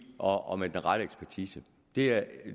og og med den rette ekspertise det er